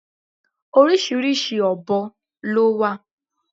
Oríṣiríṣi ọ̀bọ lọ wà.